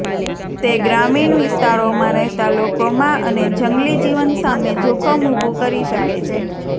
તે ગ્રામિણ વિસ્તારોમાં રહેતા લોકોમાં અને જંગલી જીવન સામે જોખમ ઊભુ કરી શકે છે